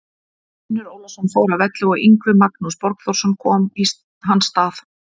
Finnur Ólafsson fór af velli og Yngvi Magnús Borgþórsson kom í hans stað.